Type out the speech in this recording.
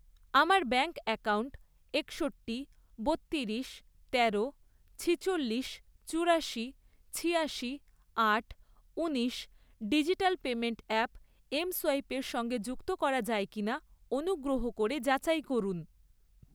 আমার bank account একষট্টি, বত্তিরিশ, তেরো, ছেচল্লিশ, চুরাশি, ছিয়াশি, আট, উনিশ ডিজিটাল পেমেন্ট অ্যাপ এমসোয়াইপের সঙ্গে যুক্ত করা যায় কিনা অনুগ্রহ করে যাচাই করুন।